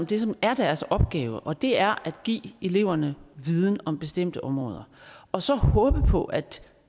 det som er deres opgave og det er at give eleverne viden om bestemte områder og så håbe på at